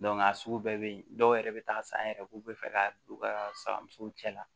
a sugu bɛɛ bɛ yen dɔw yɛrɛ bɛ taa san yɛrɛ k'u bɛ fɛ ka don u ka saga musow cɛ la